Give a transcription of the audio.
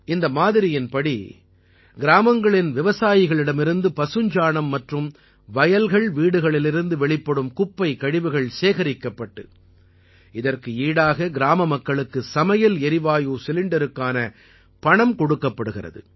இந்த மாதிரியின்படி கிராமங்களின் விவசாயிகளிடமிருந்து பசுஞ்சாணம் மற்றும் வயல்கள்வீடுகளிலிருந்து வெளிப்படும் குப்பைக்கழிவுகள் சேகரிக்கப்பட்டு இதற்கு ஈடாக கிராமமக்களுக்கு சமையல் எரிவாயு சிலிண்டருக்கான பணம் கொடுக்கப்படுகிறது